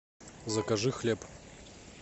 закажи хлеб